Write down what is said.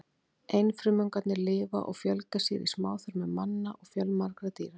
Einfrumungarnir lifa og fjölga sér í smáþörmum manna og fjölmargra dýra.